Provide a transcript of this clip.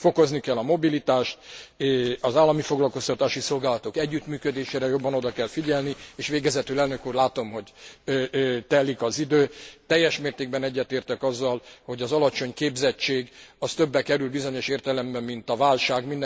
Fokozni kell a mobilitást, az állami foglalkoztatási szolgálatok együttműködésére jobban oda kell figyelni és végezetül elnök úr, látom, hogy telik az idő, teljes mértékben egyetértek azzal, hogy az alacsony képzettség az többe kerül bizonyos értelemben, mint a válság.